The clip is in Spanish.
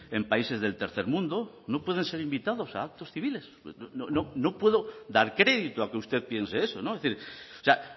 en países del tercer mundo no pueden ser invitados a actos civiles no puedo dar crédito a que usted piense eso es decir o sea